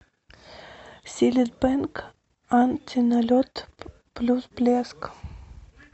силит бенг антиналет плюс блеск